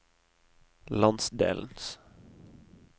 landsdelens